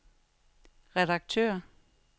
redaktør